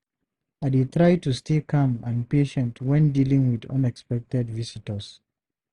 I dey try to stay calm and patient when dealing with unexpected visitors.